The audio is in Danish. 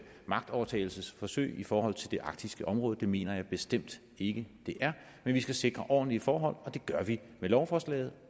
magtovertagelsesforsøg i forhold til det arktiske område det mener jeg bestemt ikke det er men vi skal sikre ordentlige forhold og det gør vi med lovforslaget